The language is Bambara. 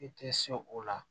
I tɛ se o la